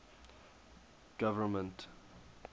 government